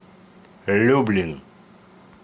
люблин